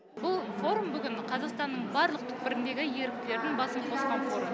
бұл форум бүгін қазақстанның барлық түкпіріндегі еріктілердің басын қосқан форум